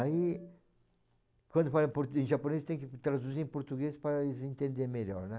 Aí, quando falam em portu em japonês, tem que traduzir em português para eles entenderem melhor, né.